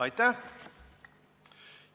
Aitäh!